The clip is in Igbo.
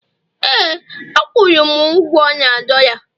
ee, a kwụrụ m ugwo na dollar